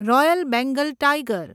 royal Bengal tiger